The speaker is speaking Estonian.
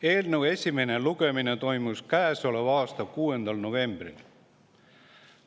Eelnõu esimene lugemine toimus käesoleva aasta 6. novembril.